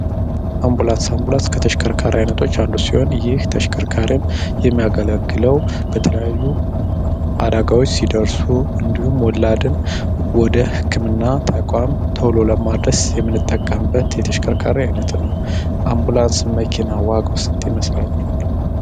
አምቡላንስ ከተሽከርካሪ አይነቶች አሉ ሲሆን ይህ ተሽከርካሪም የሚያገለግለው በተለያዩ ሲደርሱ እንዲሁም ሞላደን ወደ ህክምና ተቋም ቶሎ ለማድረስ የምንጠቀምበት የተሽከርካሪ አይነት ነው አምቡላንስ መኪና ዋጋው ስንት ይመስላቹ